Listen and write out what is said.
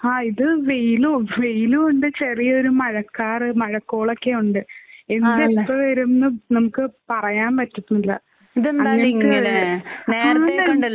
ആഹ് ഇത് വെയിലും വെയിലുണ്ട് ചെറിയൊരു മഴക്കാറ് മോഴക്കോളൊക്കെ ഉണ്ട്. ആഹ് എന്ത് എപ്പോ വരുംന്ന് നമുക്ക് പറയാൻ പറ്റുന്നില്ല. ഇതെന്തായാലും അങ്ങനിങ്ങനെ അഹ്‌ന്ന്